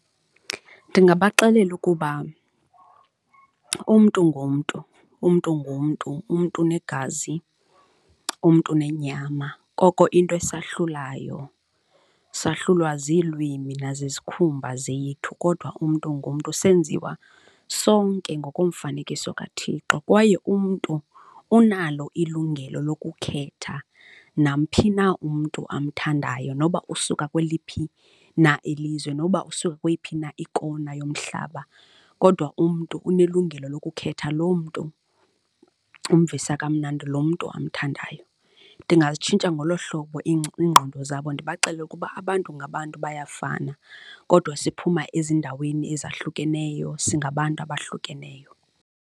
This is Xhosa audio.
Ndingabaxelela ukuba umntu ngumntu, umntu ngumntu, umntu unegazi umntu nenyama. Oko into esahlulayo, sahlulwa ziilwimi nazizikhumba zethu kodwa umntu ngumntu. Senziwa sonke ngokomfanekiso kaThixo kwaye umntu unalo ilungelo lokukhetha nawumphi na umntu amthandayo noba usuka kweliphi na ilizwe noba usuka kweyiphi na ikona yomhlaba kodwa umntu unelungelo lokukhetha loo mntu umvisa kamnandi, lo mntu omthandayo. Ndingazitshintsha ngolo hlobo iingqondo zabo ndibaxelele ukuba abantu ngabantu bayafana kodwa siphuma ezindaweni ezahlukeneyo singabantu abahlukeneyo.